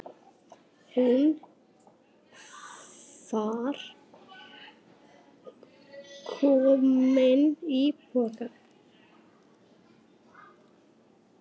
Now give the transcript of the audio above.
Hún var komin í bobba.